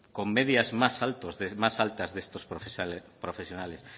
con medias más altas de estos profesionales